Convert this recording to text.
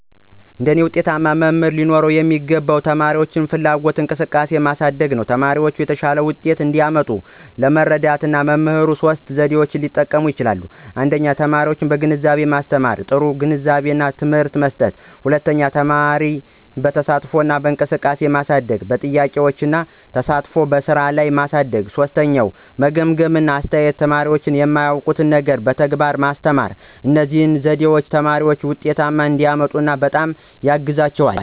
አንድ ዉጤታማ መምህር ሊኖረው የሚገባው ተማሪዎች ላይ ፍላጎትና እንቅስቃሴ ማሳደግ ነው። ተማሪዎቻቸው የተሻለ ውጤት እንዲያመጡ ለመርዳት መምህሩ ሶስት ዘዴዎችን ሊጠቀም ይችላል 1) ተማሪን በአግባቡ ማስተማር – ጥሩ ግንዛቤና ትምህርት መስጠት፣ 2) ተማሪን በተሳትፎ እንቅስቃሴ ማሳደግ – በጥያቄዎች እና ተሳትፎ በስራ ላይ ማሳደግ፣ 3) ግምገማ እና አስተያየት – ተማሪዎች የማያውቁትን ነገር በተግባር ማስተማር። እነዚህ ዘዴዎች ተማሪዎች ውጤት እንዲያመጡ በጣም ያግዛሉ።